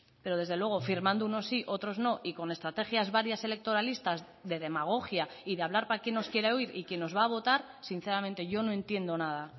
pero desde luego firmando unos sí y otros no y con estrategias varias electoralistas de demagogia y de hablar para quien nos quiera oír y que nos va a votar sinceramente yo no entiendo nada